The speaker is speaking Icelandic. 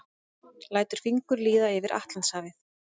Lætur fingur líða yfir Atlantshafið.